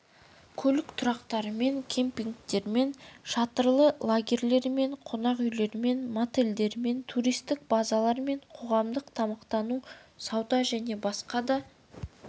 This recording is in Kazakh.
көлік тұрақтарымен кемпингтермен шатырлы лагерьлермен қонақүйлермен мотельдермен туристік базалармен қоғамдық тамақтандыру сауда және басқа да